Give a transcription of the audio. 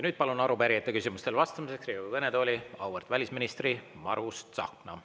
Nüüd palun arupärijate küsimustele vastamiseks Riigikogu kõnetooli auväärt välisministri Margus Tsahkna.